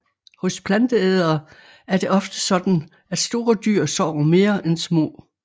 Hos planteædere er det ofte sådan at store dyr sover mere end små